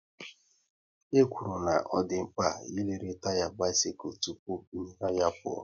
E kwuru na ọ dị mkpa ị lere taya bisikul tụpụ ị nyaru ya pụọ